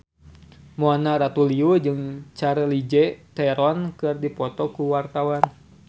Mona Ratuliu jeung Charlize Theron keur dipoto ku wartawan